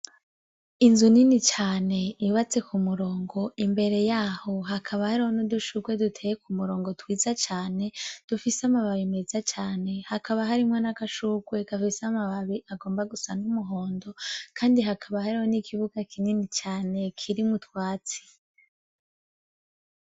Inzu nini cane yubatse ku murongo imbere yaho hakaba heriho no dushurwe duteye ku murongo twiza cane dufise amababi meza cane hakaba harimwo n'agashurwe gafise amababi agomba gusa n'umuhondo, kandi hakaba heriho n' ikibuga kinini cane kiri mwu twatsi.